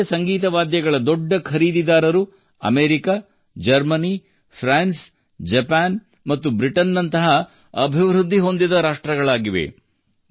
ಭಾರತೀಯ ಸಂಗೀತ ವಾದ್ಯಗಳ ದೊಡ್ಡ ಖರೀದಿದಾರರು ಅಮೇರಿಕ ಜರ್ಮನಿ ಫ್ರಾನ್ಸ್ ಜಪಾನ್ ಮತ್ತು ಬ್ರಿಟನ್ ನಂತಹ ಅಭಿವೃದ್ಧಿ ಹೊಂದಿದ ರಾಷ್ಟ್ರಗಳಾಗಿವೆ